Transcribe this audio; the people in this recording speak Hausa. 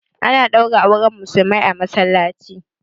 Ana ɗaura auren musulmai a masallaci